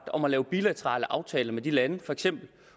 om at lave bilaterale aftaler med de lande for eksempel